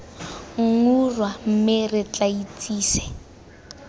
nggura mme re tla itsise